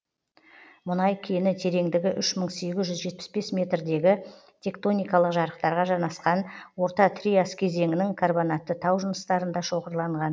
мұнай кені тереңдігі үш мың сегіз жүз жетпыс бес метр дегі тектоникалық жарықтарға жанасқан орта триас кезеңінің карбонатты тау жыныстарында шоғырланған